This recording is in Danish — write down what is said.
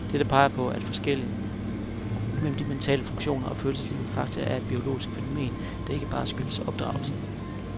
Dette peger på, at forskellene mellem de mentale funktioner og følelseslivet faktisk er et biologisk fænomen, der ikke bare skyldes opdragelsen.